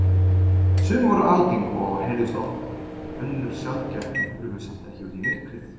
Sum voru algeng og heyrðust oft, önnur sjaldgæf en hurfu samt ekki út í myrkrið.